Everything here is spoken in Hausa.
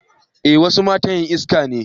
eh wasu matan na yin haski